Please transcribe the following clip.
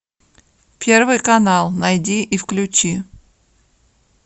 первый канал найди и включи